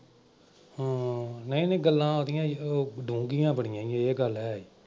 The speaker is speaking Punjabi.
ਹਮ ਨਈਂ ਨਈਂ ਗੱਲਾਂ ਉਹਦੀਆ ਸੀ ਜੋ ਡੂੰਘੀਆਂ ਬੜੀਆਂ ਸੀ ਇਹ ਗੱਲ ਹੈ।